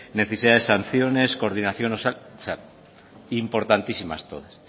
necesidad de sanciones coordinación importantísimas todas